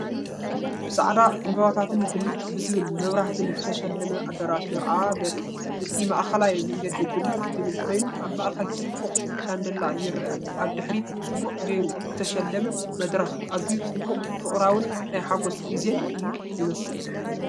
ብጻዕዳ ዕምባባታትን ብልጭ ዝብል መብራህትን ዝተሰለመ ኣዳራሽ መርዓ ዘርኢ እዩ። እቲ ማእከላይ መንገዲ ብልጭ ዝብል ኮይኑ፡ ኣብ ማእከል ጽቡቕ ሻንደልያ ይርአ። ኣብ ድሕሪት ጽቡቕ ጌሩ ዝተሰለመ መድረኽ። ኣዝዩ ጽቡቕን ፍቕራዊን ናይ ሓጎስ ግዜን እዩ ዝመስል።